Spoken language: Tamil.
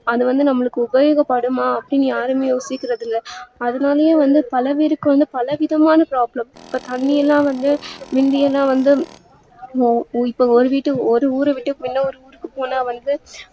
அதுவந்து நமக்கு உபயோக படுமா அப்டின்னு யாரும் யோசிக்கறது இல்ல அதனாலே வந்து பல வீட்டுக்கு வந்து பலவிதமான problem இப்ப தன்னிஎல்லா வந்து முந்தியெல்லா வந்து ஒரு வீட்டு ஒரு ஊரவிட்டு இன்னொரு ஊருக்கு போனா வந்து